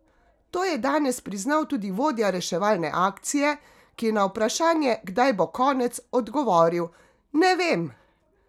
To je danes priznal tudi vodja reševalne akcije, ki je na vprašanje, kdaj bo konec, odgovoril: "Ne vem".